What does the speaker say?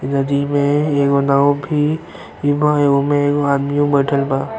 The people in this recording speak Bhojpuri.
नदी में एगो नाव भी एगो में एगो आदमियो बइठल बा।